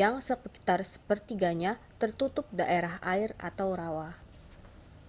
yang sekitar sepertiganya tertutup daerah air/rawa